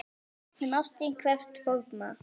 En ástin krefst fórna!